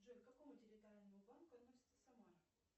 джой к какому территориальному банку относится самара